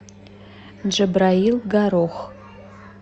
джабраил горох